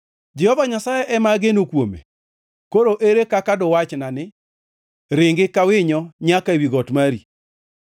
Jehova Nyasaye ema ageno kuome. Koro ere kaka duwachna ni: “Ringi ka winyo nyaka ewi got mari.